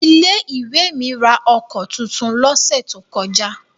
Ilé-ìwé mi ra ọkọ̀ tuntun lọ́sẹ̀ tó kọjá.